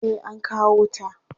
Eh an kawo wuta.